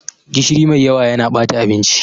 Gishiri mai yawa yana bata abinci.